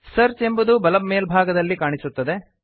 search ಎಂಬುದು ಬಲ ಮೇಲ್ಭಾಗದಲ್ಲಿ ಕಾಣಿಸುತ್ತದೆ